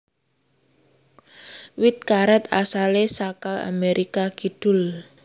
Wit karet asale saka Amerikah Kidul